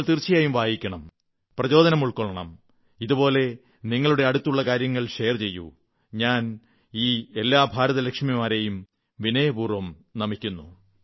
നിങ്ങൾ തീർച്ചയായും വായിക്കണം പ്രചോദനം ഉൾക്കൊള്ളണം ഇതുപോലെ നിങ്ങളുടെ അടുത്തുള്ള കാര്യങ്ങൾ ഷെയർ ചെയ്യൂ ഞാൻ ഈ എല്ലാ ഭാരതലക്ഷ്മിമാരെയും വിനയപൂർവ്വം നമിക്കുന്നു